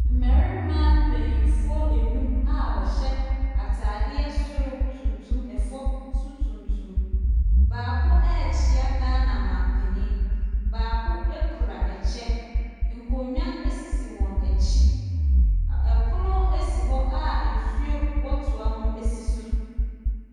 Mbɛrema mpaninfoɔ enum a wɔhyɛ ataadeɛ soro tuntum ɛfɔm so tuntum. Baako ɛɛkyia Ghana manpanin, baako ekura ɛkyɛ, nkonwa esisi wɔn ekyi. Ɛpono esi hɔ a nsuo wɔ toa mu esi so.